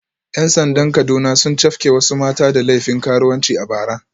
‘Yan sandan Kaduna sun cafke wasu mata da laifin karuwanci a bara